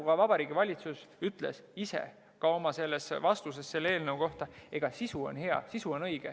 Ka Vabariigi Valitsus ütles oma seisukohas selle eelnõu kohta, et sisu on hea, sisu on õige.